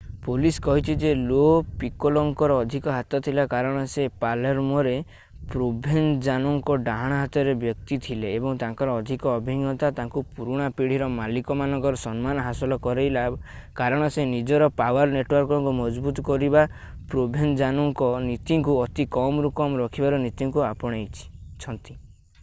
police କହିଛି ଯେ ଲୋ ପିକୋଲୋଙ୍କର ଅଧିକ ହାତ ଥିଲା କାରଣ ସେ ପାଲେର୍ମୋରେ ପ୍ରୋଭେଞ୍ଜାନୋଙ୍କ ଡାହାଣ-ହାତର ବ୍ୟକ୍ତି ଥିଲେ ଏବଂ ତାଙ୍କର ଅଧିକ ଅଭିଜ୍ଞତା ତାଙ୍କୁ ପୁରୁଣା ପିଢୀର ମାଲିକ ମାନଙ୍କର ସମ୍ମାନ ହାସଲ କରେଇଲା କାରଣ ସେ ନିଜର ପାୱାର୍ ନେଟୱାର୍କକୁ ମଜବୁତ କରିବା ପ୍ରୋଭେଞ୍ଜାନୋଙ୍କ ନୀତିକୁ ଅତି କମରୁ କମ ରଖିବାର ନୀତିକୁ ଆପଣେଇଛନ୍ତି